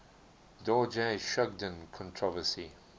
dorje shugden controversy